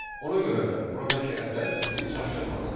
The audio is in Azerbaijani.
Ona görə də buradakı ədəd sizi çaşdırmasın.